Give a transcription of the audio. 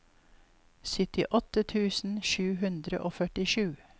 syttiåtte tusen sju hundre og førtisju